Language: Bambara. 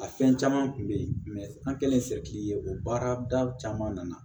A fɛn caman kun be yen an kɛlen ye o baarada caman nana